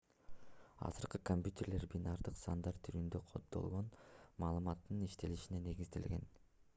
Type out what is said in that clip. азыркы компьютерлер бинардык сандар түрүндө коддолгон маалыматтын иштелишине негизделген